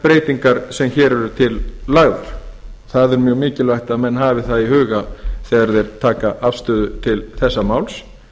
breytingar sem hér eru lagðar til það er mjög mikilvægt að menn hafi það í huga þegar þeir taka afstöðu til þessa máls